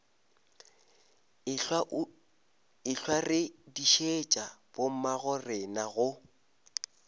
ehlwa re dišitše bommagorena go